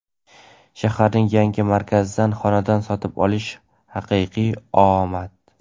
Shaharning yangi markazidan xonadon sotib olish — haqiqiy omad!.